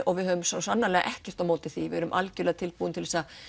og við höfum svo sannarlega ekkert á móti því við erum algerlega tilbúin til þess að